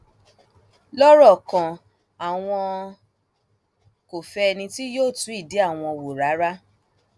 lọrọ kan àwọn kò fẹ ẹni tí yóò tú ìdí àwọn wò rárá